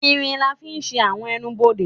ìrín lá fí sé awọn ẹ́nubọdè